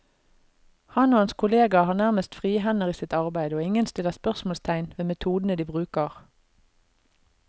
Han og hans kolleger har nærmest frie hender i sitt arbeid, og ingen stiller spørsmålstegn ved metodene de bruker.